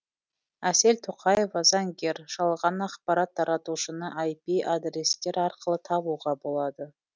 әсел тоқаева заңгер жалған ақапарат таратушыны айпи адрестер арқылы табуға болады